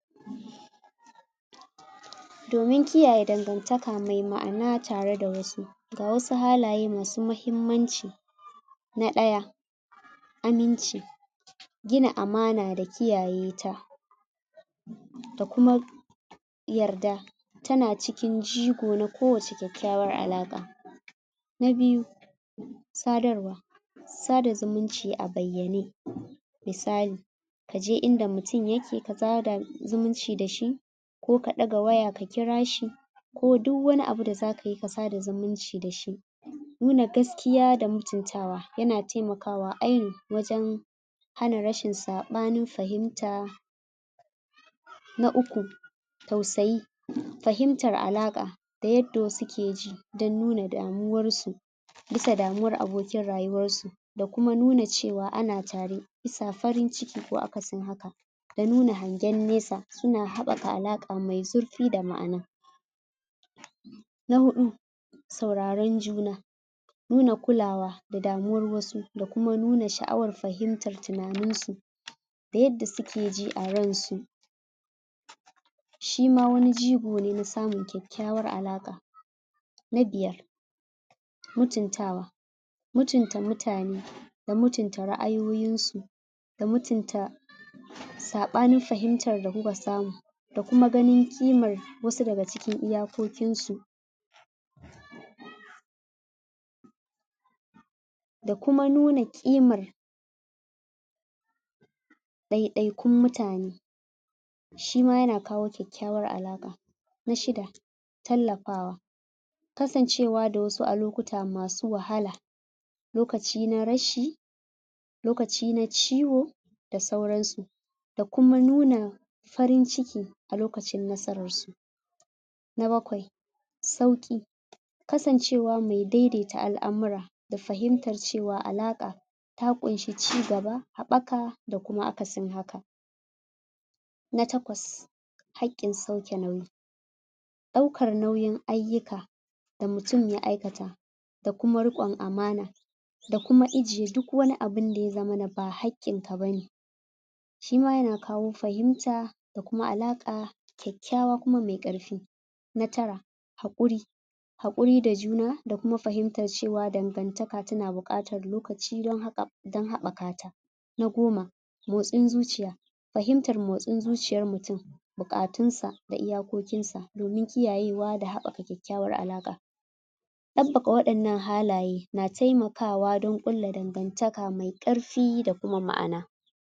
Domin kiyaye dangantaka mai ma'ana tare da wasu, ga wasu halaye masu mahimmanci: Na ɗaya, aminci. Gina amana da kiyaye ta, da kuma yarda, tana cikin jigo na kowacce kyakykyawar alaƙa. Na biyu, sadarwa. Sada zimunci a bayyane, misali: kaje inda mutum yake ka sada zumunci da shi, ko ka ɗaga waya ka kira shi, ko duwwani abu da zakayi ka sada zuminci dashi. Nuna gaskiya da mutuntawa, yana taimakawa ainun wajan hana rashin saɓanin fahimta. Na uku, tausayi, fahimtar alaƙa da yadda wasu ke ji dan nuna damuwar su bisa damuwar abokin rayuwar su, da kuma nuna cewa ana tare bisa farin ciki ko akasin haka da nuna hangen nesa, suna haɓɓaka alaƙaa mai zurfi da ma'ana. Na huɗu, sauraron juna. Nuna kulawa da damuwar wasu da kuma nuna sha'awar fahimtar tunanin su, da yadda suke ji a ran su, shi ma wani jigo ne na samun kyakykyawar alaƙa. Na biyar, mutuntawa. mutunta mutane da mutunta ra'ayoyin su, da mutunta saɓanin fahimtar da kuka samu, da kuma ganin kimar wasu daga cikin iyakokin su, da kuma nuna ƙimar ɗaiɗaikun mutane, shi ma yana kawo kyakykyawar alaƙa. Na shida, tallafawa. Kasncewa da wasu a lokuta masu wahala, lokaci na rashi, lokaci na ciwo, da sauran su, da kuma nuna farin ciki a lokacin nasarar su. Na bakwai, sauƙi. Kasancewa mai daidaita al'amura da fahimtar cewa, alaƙa ta ƙunshi cigaba, haɓaka, da kuma akasin haka. Na takwas, haƙƙin sauke nauyi. Ɗaukar nauyin ayyuka da mutum ya aikata, da kuma riƙon amana, da kuma ijiye duk wani abu da ya zamana ba haƙƙin ka bane, shi ma yana kawo fahimta da kuma alaƙa kyakykyawa kuma mai ƙarfi. Na tara, haƙuri. Haƙuri da juna, da kuma fahimtar cewa dangantaka tana buƙatar lokaci don haɓɓaka ta. Na goma, motsin zuciya. Fahimtar motsin zuciyar mutum, buƙatun sa, da iyakokin sa, domin kiyayewa da haɓɓaka kyakykyawar alaƙa. Ɗaffaka waɗannan halaye, na taimakawa don ƙulla dangantaka mai ƙarfi da kuma ma'ana.